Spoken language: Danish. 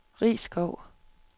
Risskov